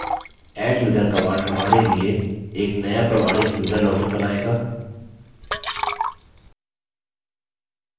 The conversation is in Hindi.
adduser command हमारे लिए एक नया प्रमाणित यूज़र login बनाएगा